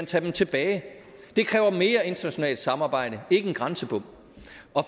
tage dem tilbage det kræver mere internationalt samarbejde ikke en grænsebom